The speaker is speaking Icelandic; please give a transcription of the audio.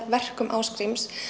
verkum Ásgríms